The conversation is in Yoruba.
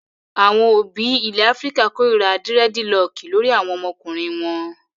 Àwọn òbí ilẹ̀ Áfíríkà kórira dírẹ́dilọọkì lórí àwọn ọmọkùnrin wọn.